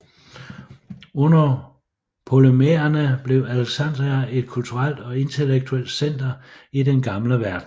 Under ptolemæerne blev Alexandria et kulturelt og intellektuelt center i den gamle verden